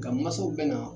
Ka masaw bɛna